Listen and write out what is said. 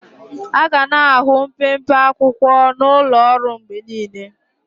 Aga na-ahụ mpempe akwụkwọ n'ụlọ ọrụ mgbe niile.